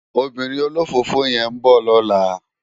Óbìrín ólófófó yèn n bò lòlá